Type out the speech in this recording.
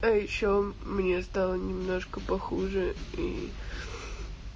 ещё мне стало немножко похуже и